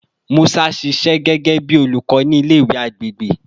Musa ṣiṣẹ gẹgẹbi olukọ ni ile-iwe agbegbe